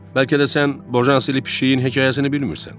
Bəlkə də sən Bojanseli pişiyinin hekayəsini bilmirsən.